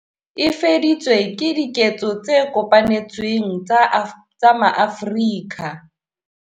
E fedisitswe ke diketso tse kopanetsweng tsa maAfrika.